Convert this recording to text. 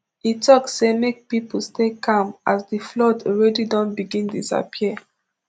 e tok say make pipo stay calm as di flood already don begin disappear